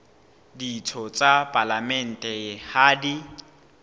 ditho tsa palamente ha di